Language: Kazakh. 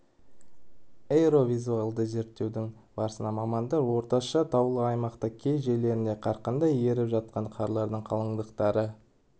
аэровизуальді зерттеудің барысында мамандар орташа таулы аймақта кей жерлерінде қарқынды еріп жатқан қарлардың қалыңдықтары